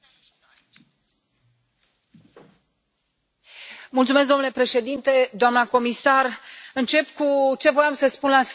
Domnule președinte, doamnă comisar, încep cu ce voiam să spun la sfârșit ați constatat că în Parlament aveți o susținere.